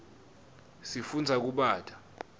sifundza kubata